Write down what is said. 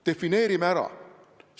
Defineerime ära.